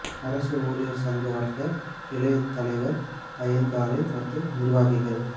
அரசு ஊழியர் சங்க வட்ட கிளை தலைவர் அய்யங்காளை மற்றும் நிர்வாகிகள்